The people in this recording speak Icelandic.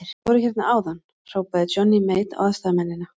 Þeir voru hérna áðan, hrópaði Johnny Mate á aðstoðarmennina.